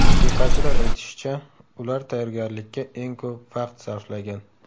Musiqachilar aytishicha, ular tayyorgarlikka eng ko‘p vaqt sarflagan.